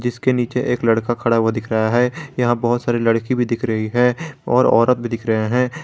इसके नीचे एक लड़का खड़ा हुआ दिख रहा है यहां बहुत सारी लडकी भी दिख रही है और औरत भी दिख रहे हैं।